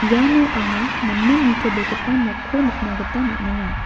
iano anga namen nitobegipa nokko nikna gita man·enga.